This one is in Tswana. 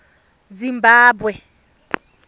zimbabwe